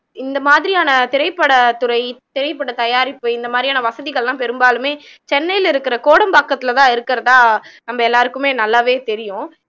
இந்த மாதிரியான திரைப்படத்துறை திரைப்படத் தயாரிப்பு இந்த மாதிரியான வசதிகள் எல்லாம் பெரும்பாலுமே சென்னையில இருக்குற கோடம்பாக்கத்துல தான் இருக்குறதா நம்ம எல்லாருக்குமே நல்லாவே தெரியும்